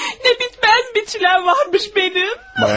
Ne bitmez biçilen varmış benim.